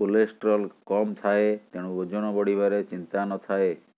cholesterol କମ ଥାଏ ତେଣୁ ଓଜନ ବଢିବାରେ ଚିନ୍ତା ନଥାଏ